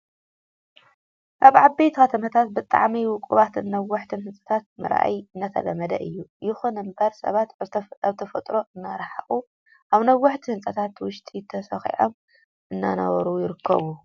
ኣብ ዓበይቲ ከተማታት ብጣዕሚ ውቁባትን ነዋሕትን ሕንፃታት ምርኣይ እናተለመደ እዩ። ይኹን እምበር ሰባት ካብ ተፈጥሮ እናረሓቁ ኣብ ነዋሕቲ ህንፃታት ውሽጢ ተሰኺዖም እናነበሩ ይርከቡ።